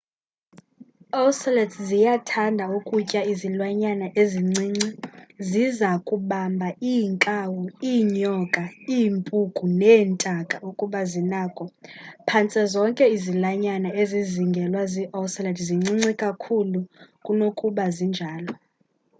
ocelots ziyathanda ukutya izilwanyana ezincinci ziza kubamba iinkawu iinyoka iimpuku neentaka ukuba zinako phantse zonke izilwanyana ezizingelwa zii-ocelot zincinci kakhulu kunokuba zinjalo